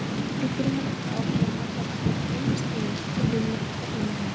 Við þurfum að halda áfram að taka hvern einasta leik og vinna okkar heimavinnu.